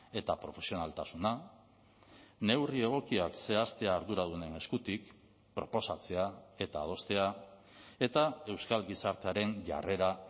eta profesionaltasuna neurri egokiak zehaztea arduradunen eskutik proposatzea eta adostea eta euskal gizartearen jarrera